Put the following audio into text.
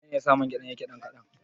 Menene yasa man gyaɗar yake ɗan kaɗan.